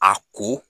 A ko